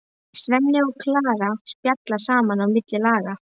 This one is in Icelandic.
Svenni og Klara spjalla saman á milli laga.